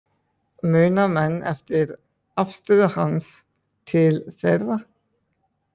Muna menn eftir afstöðu hans til þeirra?